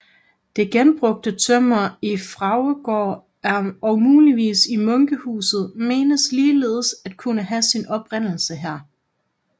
Det genbrugte tømmer i Fraugdegaard og muligvis i munkehuset menes ligeledes at kunne have sin oprindelse her